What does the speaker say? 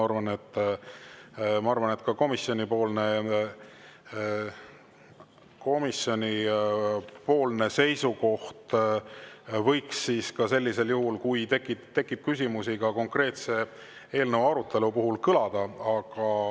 Ma arvan, et ka komisjoni seisukoht võiks siis sellisel juhul kõlada, kui tekib küsimusi konkreetse eelnõu arutelu kohta.